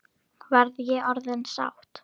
Verð ég orðin sátt?